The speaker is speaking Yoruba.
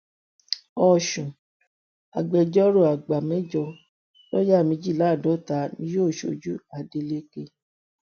ọṣùn agbẹjọrò àgbà mẹjọ lọọyà méjìdínláàádọta ni yóò ṣojú adeleke